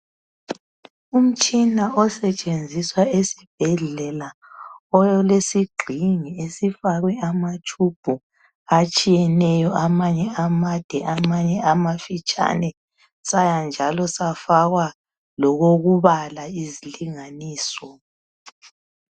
Umtshina osetshenziswa esibhedlela ole sigxingi esifakwe amatshubhu atshiyeneyo amanye amade amanye amafitshane saya njalo safaka lokokubala izilinganiso.